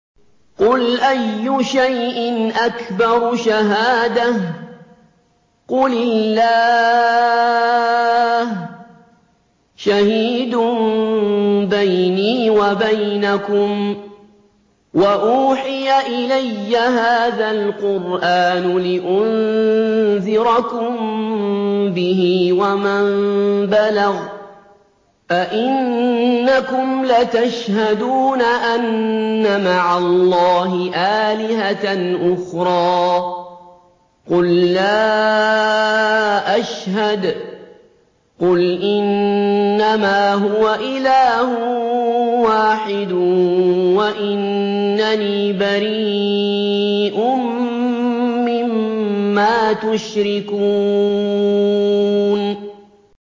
قُلْ أَيُّ شَيْءٍ أَكْبَرُ شَهَادَةً ۖ قُلِ اللَّهُ ۖ شَهِيدٌ بَيْنِي وَبَيْنَكُمْ ۚ وَأُوحِيَ إِلَيَّ هَٰذَا الْقُرْآنُ لِأُنذِرَكُم بِهِ وَمَن بَلَغَ ۚ أَئِنَّكُمْ لَتَشْهَدُونَ أَنَّ مَعَ اللَّهِ آلِهَةً أُخْرَىٰ ۚ قُل لَّا أَشْهَدُ ۚ قُلْ إِنَّمَا هُوَ إِلَٰهٌ وَاحِدٌ وَإِنَّنِي بَرِيءٌ مِّمَّا تُشْرِكُونَ